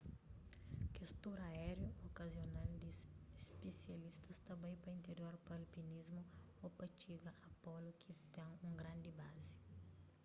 kes tur aériu okazional di spisialistas ta bai pa interior pa alpinismu ô pa txiga a polu ki ten un grandi bazi